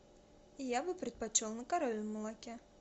я бы предпочел на коровьем молоке